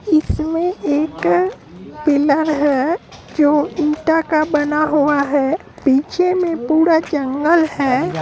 इसमें एक पीलर है जो ईटा का बना हुआ है पीछे मे पूरा जंगल है।